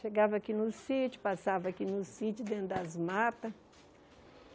Chegava aqui no sítio, passava aqui no sítio, dentro das matas.